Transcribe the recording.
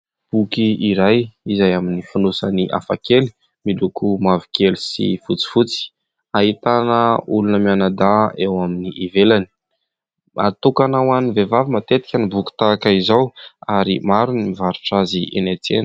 Boky iray izay amin'ny fonosany hafakely miloko mavokely sy fotsifotsy, ahitana olona mianadahy eo amin'ny ivelany. Natokana ho an'ny vehivavy matetika ny boky tahaka izao ary maro ny mivarotra azy eny an-tsena.